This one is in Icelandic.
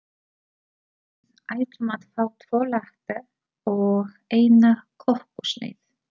Við ætlum að fá tvo latte og eina kökusneið.